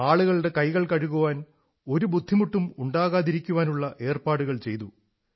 ആളുകളുടെ കൈകൾ കഴുകാൻ ഒരു ബുദ്ധിമുട്ടും ഉണ്ടാകാതിരിക്കാനുള്ള ഏർപ്പാടുകൾ ചെയ്തു